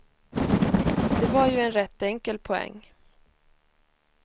Det var ju en rätt enkel poäng.